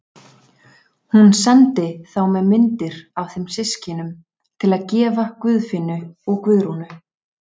Hún sendi þá með myndir af þeim systkinum til að gefa Guðfinnu og Guðrúnu.